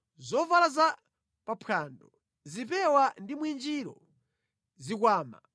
zovala za pa mphwando, zipewa ndi mwinjiro, zikwama,